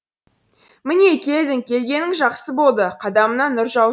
міне келдің келгенің жақсы болды қадамыңа нұр жау